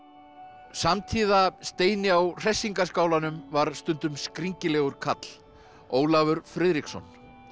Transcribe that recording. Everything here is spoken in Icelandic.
samtíða Steini á var stundum skringilegur karl Ólafur Friðriksson